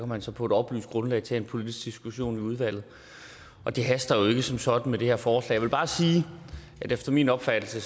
man så på et oplyst grundlag tage en politisk diskussion i udvalget og det haster jo ikke som sådan med det her forslag jeg vil bare sige at det efter min opfattelse